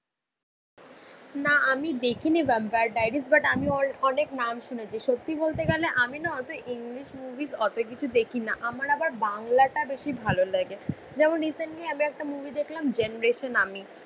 না আমি দেখিনি ভ্যাম্পায়ার ডাইরি বাট আমি অনেক নাম শুনেছি. সত্যি বলতে গেলে আমি না অত ইংলিশ মুভিস অত কিছু দেখি না. আমার আবার বাংলাটা বেশি ভালো লাগে. যেমন রিসেন্টলি আমি একটা মুভি দেখলাম জেনারেশন আমি